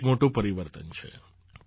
આ એક મોટું પરિવર્તન છે